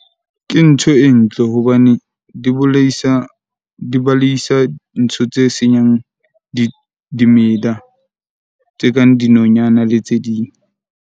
Ke ntho e ntle hobane di bolaisa, di baleisa ntho tse seng dimela. Tse kang dinonyana le tse ding.